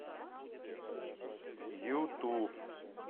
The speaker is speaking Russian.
юту